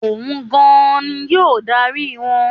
Òun gan-an ni yóò dárí wọn.